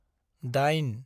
दाइन